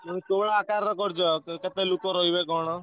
କୋଉ ଭଳିଆ ଆକାର ରେ କରୁଛ କେତେ ଲୋକ ରହିବେ କଣ?